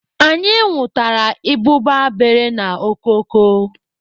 Anyị nwụtara ịbụba bere n'okoko.